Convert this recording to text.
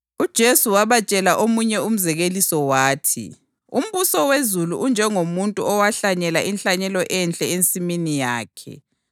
UJesu wabatshela omunye umzekeliso wathi, “Umbuso wezulu unjengomuntu owahlanyela inhlanyelo enhle ensimini yakhe.